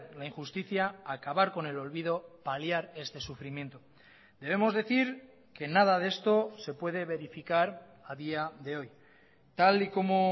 la injusticia acabar con el olvido paliar este sufrimiento debemos decir que nada de esto se puede verificar a día de hoy tal y como